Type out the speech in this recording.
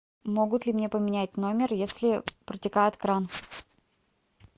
могут ли мне поменять номер если протекает кран